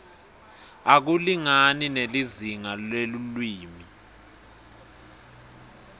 akulingani nelizingaa lelulwimi